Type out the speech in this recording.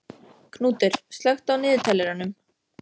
Knútur, slökktu á niðurteljaranum.